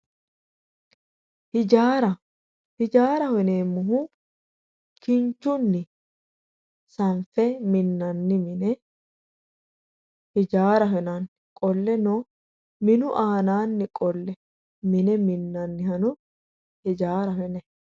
Ijaaraho yineemmohu kinchunni sanfe minnanni mine ijaaraho yinanni qolleno minu aanaanni qolle mine minnannihano ijaaraho yinayii